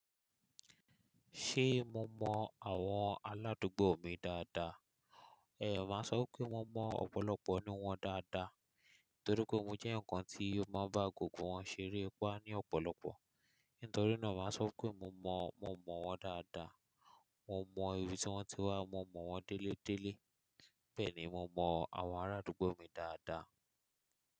Ṣé mo mọ àwọn aládùúgbò mi dáadáa? Ẹ̀yan máa sọ pé mo mọ ọ̀pọ̀lọpọ̀ ní wọ́n dáadáa, torí pé mo jẹ́ eyan kan tí ó máa ń bá gbogbo wọn ṣeré pá ní ọ̀pọ̀lọpọ̀. Nítorí náà màá sọ pé mo mọ, mo mọ̀ wọ́n dáadáa. Mo mọ ibi tí wọ́n ti wá, mo mọ̀ wọ́n déélé déélé. Bẹ́ẹ̀ ni, mo mọ àwọn aládùúgbò mi dáadáa.